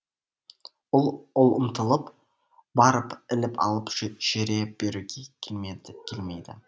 ол ұмтылып барып іліп алып жүре беруге келмейді